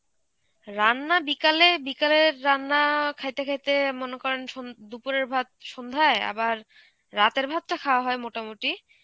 রান্না বিকালে, বিকালের রান্না খাইতে খাইতে মনে করেন সন~ দুপুরের ভাত সন্ধ্যায় আবার রাতের ভাতটা খাওয়া হয় মোটামুটি.